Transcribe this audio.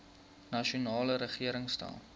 nasionale regering stel